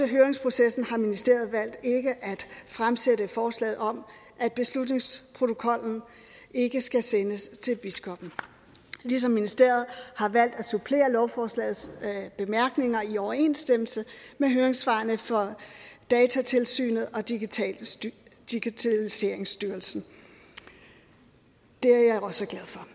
høringsprocessen har ministeriet valgt ikke at fremsætte forslaget om at beslutningsprotokollen ikke skal sendes til biskoppen ligesom ministeriet har valgt at supplere lovforslagets bemærkninger i overensstemmelse med høringssvarene fra datatilsynet og digitaliseringsstyrelsen det er jeg også glad for